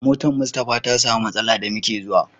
Motar Mustapha ta samu matsala da muke zuwa.